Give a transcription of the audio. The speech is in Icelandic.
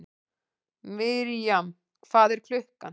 Mirjam, hvað er klukkan?